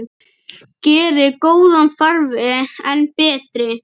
Gerir góðan farveg enn betri.